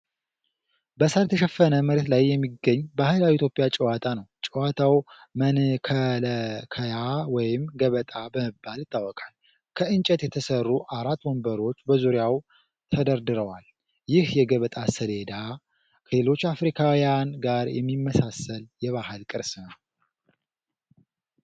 በሳር የተሸፈነ መሬት ላይ የሚገኝ ባህላዊ የኢትዮጵያ ጨዋታ ነው። ጨዋታው መንከለከያ ወይም ገበጣ በመባል ይታወቃል። ከእንጨት የተሠሩ አራት ወንበሮች በዙሪያው ተደርድረዋል። ይህ የገበጣ ሰሌዳ ከሌሎች አፍሪካውያን ጋር የሚመሳሰል የባህል ቅርስ ነው።